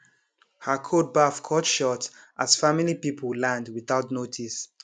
her cold baff cut short as family people land without notice